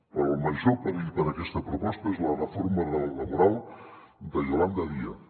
però el major perill per a aquesta proposta és la reforma laboral de yolanda díaz